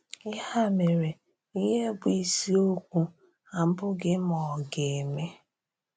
Ya mèrè, íhè bụ́ ìsìokwu abụghị ma ọ̀ gà-eme.